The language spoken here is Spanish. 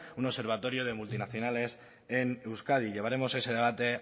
un observatorio de multinacionales en euskadi llevaremos ese debate